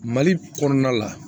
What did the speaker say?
Mali kɔnɔna la